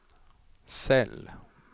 cell